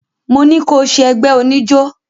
Mo ní ko ṣẹ ẹgbé oníjó!